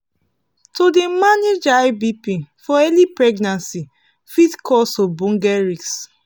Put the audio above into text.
to dey manage high bp for early pregnancy fit cause ogboge risks